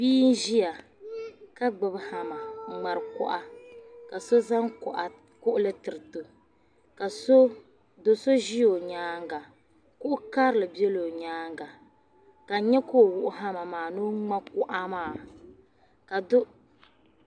Bia n-ʒia ka gbibi hamma n-ŋmari kuɣa ka so zaŋ kuɣili tiriti o ka do' so ʒi o nyaaŋga. Kuɣ' karili bela o nyaaŋga ka n nya ka o wuɣi hamma maa ni o ŋma kuɣa maa.